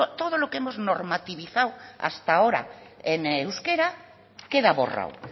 todo lo que hemos normativizado hasta ahora en euskera queda borrado